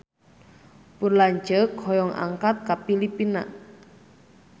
Pun lanceuk hoyong angkat ka Filipina